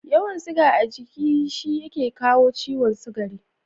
Yawan siga a giki shi yake kawo ciwon sugari